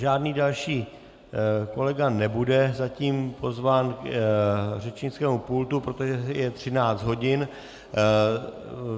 Žádný další kolega nebude zatím pozván k řečnickému pultu, protože je 13 hodin.